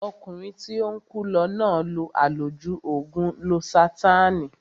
Ọkùnrin tí ó ń kú lọ náà lo àlòjù ògùn lósátáànì